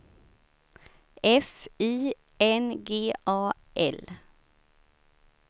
F I N G A L